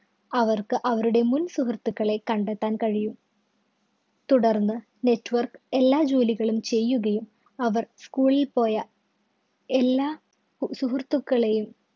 അവര്‍ക്ക് അവരുടെ മുന്‍ സുഹൃത്തുക്കളെ കണ്ടെത്താന്‍ കഴിയും. തുടര്‍ന്ന് network എല്ലാ ജോലികളും ചെയ്യുകയും അവര്‍ school ല്‍ പോയ എല്ലാ സുഹൃത്തുക്കളെയും